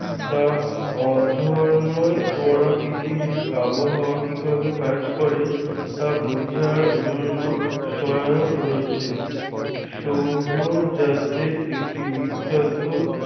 তা অধ্যয়নই করা পৃথিবীতে আবহাওয়া কিভাবে কাজ করে তা বোঝার জন্য সহায়ক রয়েছে। সৌরজাতের একটি বিখ্যাত